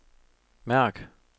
mærk